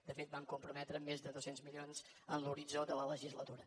de fet hi vam comprometre més de dos cents milions en l’horitzó de la legislatura